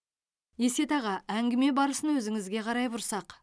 есет аға әңгіме барысын өзіңізге қарай бұрсақ